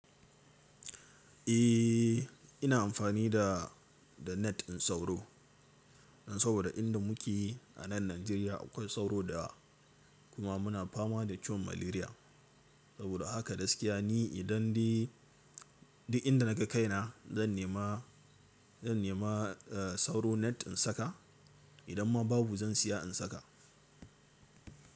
Eh, ina amfani da, da net din sauro. Don saboda inda muke a nan Najeriya akwai sauro da kuma muna fama da ciwon malaria. Saboda haka gaskiya ni idan dai duk inda na ga kaina zan nema, zan nema, eh, sauro net in saka. Idan ma babu zan siya in saka.